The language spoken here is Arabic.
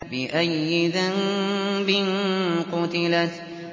بِأَيِّ ذَنبٍ قُتِلَتْ